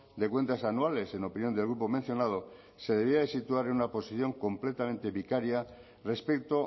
de cuentas anuales en opinión del grupo mencionado se debía de situar en una posición completamente vicaria respecto